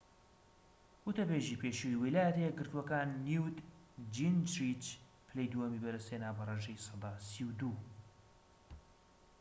وتەبێژی پێشووی ویلایەتە یەکگرتووەکان نیوت جینجریچ پلەی دووهەمی بەدەستهێنا بە ڕێژەی سەدا ٣٢